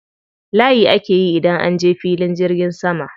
Layi ake yi idan an je filin jirgin sama.